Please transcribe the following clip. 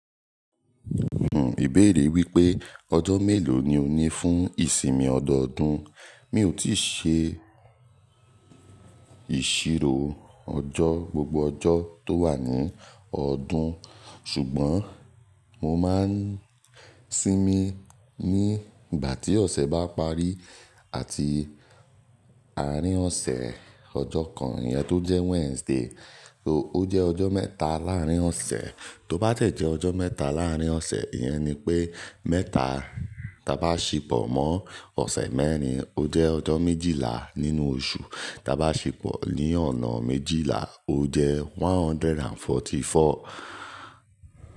Hmnn, ìbéèrè wípé ọjọ́ mélòó ni ó ní fún ìsinmi ọdọọdún. Mi ò tíì ṣe ìṣirò ọjọ́, gbogbo ọjọ́ tó wà ní ọdún ṣùgbọ́n mo máa ń sinmi ní ìgbà tí ọ̀sẹ̀ bá parí àti àárín ọ̀sẹ̀ ọjọ́ kan iyẹn tó jẹ́ Wednesday ó jẹ́ ọjọ́ mẹ́ta láàárín ọ̀sẹ̀, tó bá tẹ́ jẹ́ ọjọ́ mẹ́ta láàárín ọ̀sẹ̀, ìyẹn ni pé mẹ́ta ta bá ṣipọ̀ mọ́ ọ̀sẹ̀ mẹ́rin ó jẹ́ ọjọ́ méjìlá nínú oṣù, ta bá ṣipọ̀ ní ọ̀nà méjìlá ó jẹ́ 144.